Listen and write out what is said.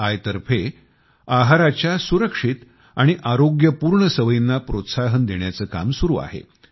I तर्फे आहाराच्या सुरक्षित आणि आरोग्यपूर्ण सवयींना प्रोत्साहन देण्याचे काम सुरू आहे